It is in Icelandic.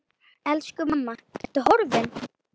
Elsku mamma, Ertu horfin?